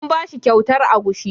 An bashi kyautar agushi.